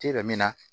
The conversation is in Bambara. min na